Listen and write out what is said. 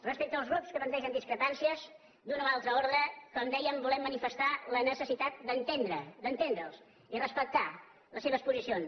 respecte als grups que plantegen discrepàncies d’un o l’altre ordre com dèiem volem manifestar la necessitat d’entendre’ls i respectar les seves posicions